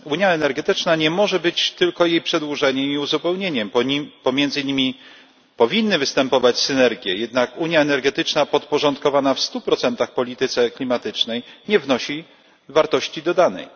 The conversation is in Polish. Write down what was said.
Unia energetyczna nie może być tylko jej przedłużeniem i uzupełnieniem, pomiędzy nimi powinny występować synergie, jednak unia energetyczna podporządkowana w 100 polityce klimatycznej nie wnosi wartości dodanej.